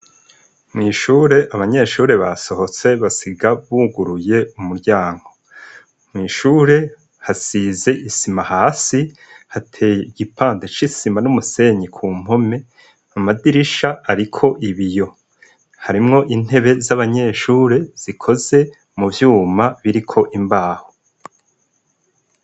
Mw' ishuri abanyeshure basohotse basiga buguruye umuryango. Mw' ishure hasize isima hasi, hateye igipande c' isima n' umusenyi ku mpome, amadirisha ariko ibiyo. Harimwo intebe z' abanyeshure zikoze mu vyuma biriko imbaho.